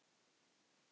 Hvert strá.